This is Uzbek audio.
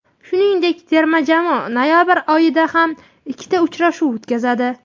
Shuningdek, terma jamoa noyabr oyida ham ikkita uchrashuv o‘tkazadi.